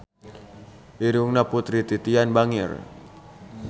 Irungna Putri Titian bangir